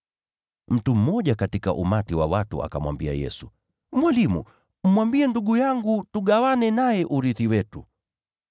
Mtu mmoja katika umati wa watu akamwambia Yesu, “Mwalimu, mwambie ndugu yangu tugawane naye urithi wetu.”